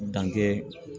Dan kɛ